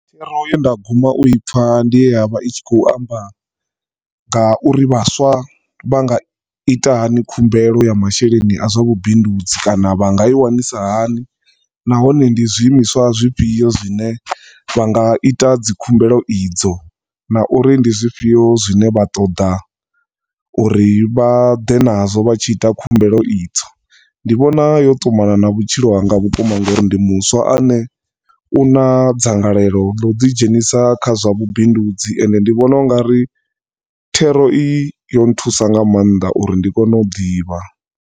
Thero ya nda guma u ipfa ndi ye ya vha i tshi khou amba nga uri vhaswa vha nga ita hani khumbelo ya masheleni a zwa vhubindudzi kana vha nga i wanisa hani, nahone ndi zwiimiswa zwifhio zwine vha nga ita dzikhumbelo idzo, na uri ndi zwifhio zwine vha ṱoḓa u ri vha ḓe na zwo vha tshi ita khumbelo idzo. Ndi vhona yo ṱumana na vhutshilo hanga vhukuma nga uri ndi muswa ane u na dzangalelo ḽa u ḓi dzhenisa kha zwa vhubindudzi ende ndi vhona ungari thero iyi yo thusa nga maanḓa uri ndi kone u ḓivha.